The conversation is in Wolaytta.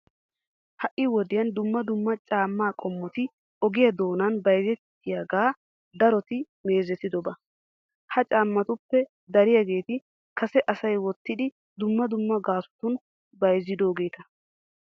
Ha"i wodiyan dumma dumma caammaa qommoti oge doonan bayzettiyogaa daroti meezetidoba. Ha caammatuppe dariyageeti kase asay wottidi dumma dumma gaasotun bayzzidoogeeta.